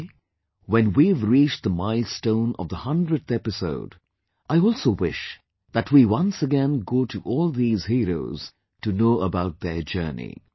Today, when we have reached the milestone of the 100th episode, I also wish that we once again go to all these Heroes to know about their journey